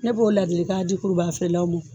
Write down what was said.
Ne b'o ladilikan di kurubaga feere law ma.